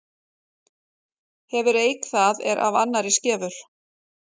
Hefur eik það er af annarri skefur.